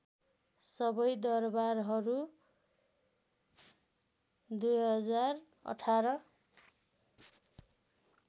सबै दरबारहरू २०१८